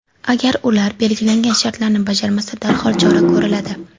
Agar ular belgilangan shartlarni bajarmasa, darhol chora ko‘riladi.